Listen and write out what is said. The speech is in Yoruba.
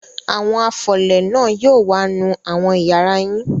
Àwọn afọlẹ̀ náà yóò wá nù àwọn ìyàrá yín.